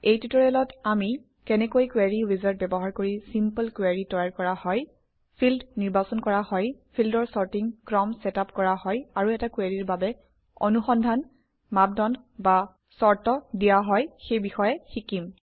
এই ট্যুটৰিয়েলত আমি কেনেকৈ কোৰী উইজাৰ্ড ব্যৱহাৰ কৰি চিম্পল কুৱেৰি তৈয়াৰ কৰা হয় ফিল্ড নিৰ্বাচন কৰা হয় ফিল্ডৰ চৰ্টিং ক্ৰম চেটআপ কৰা হয় আৰু এটা কুৱেৰিৰ বাবে অনুসন্ধান মাপ দন্দ বা চৰ্ত দিয়া হয় সেই বিষয়ে শিকিম